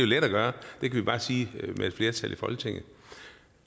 let at gøre med et flertal i folketinget